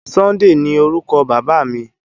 Sunday ni órúkò Baba mi